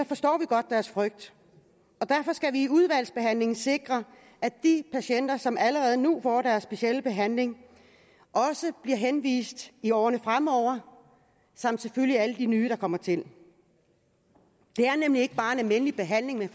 forstår vi godt deres frygt og derfor skal vi i udvalgsbehandlingen sikre at de patienter som allerede nu får deres specielle behandling også bliver henvist i årene fremover samt selvfølgelig alle de nye der kommer til det er nemlig ikke bare en almindelig behandling man